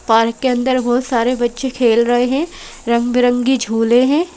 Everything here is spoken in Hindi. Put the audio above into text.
पार्क के अंदर बहोत सारे बच्चे खेल रहे हैं रंग बिरंगी झूले हैं।